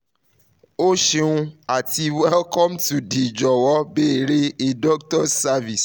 o ṣeun ati welcome to the "jọwọ beere a doctor's" service